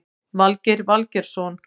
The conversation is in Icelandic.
Valgeir Valgeirsson